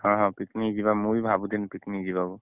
ହଁ ହଁ picnic ଯିବା ମୁଁ ବି ଭାବୁଥିନୀ picnic ଯିବା କୁ